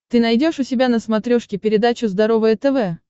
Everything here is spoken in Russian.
ты найдешь у себя на смотрешке передачу здоровое тв